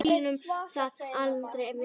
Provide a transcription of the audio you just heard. Hverjir skyldu það annars vera?